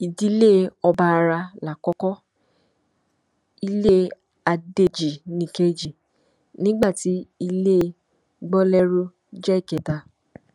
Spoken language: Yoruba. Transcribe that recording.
ìdílé ọbaará lákòókò ilé adéjì nìkejì nígbà tí ilé gbolérù jẹ ìkẹta